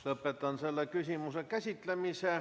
Lõpetan selle küsimuse käsitlemise.